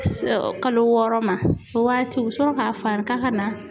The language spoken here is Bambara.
Kalo wɔɔrɔ ma. O waati u bi sɔrɔ ka fari ka ka na.